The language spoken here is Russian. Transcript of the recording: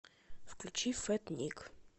включи фэт ник